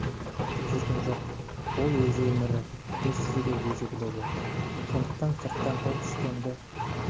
айтып жүрген жоқ ол өз өмірі не істесе де өзі біледі сондықтан сырттан тон пішкенді